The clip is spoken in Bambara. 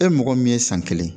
E mɔgɔ min ye san kelen